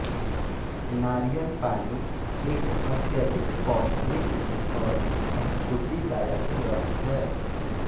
नारियल पानी एक अत्यधिक पौष्टिक और स्फूर्तिदायक रस है